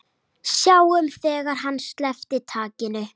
Sáum þegar hann sleppti takinu.